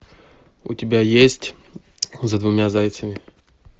у тебя есть за двумя зайцами